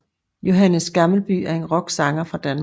Johannes Gammelby er en rocksanger fra Danmark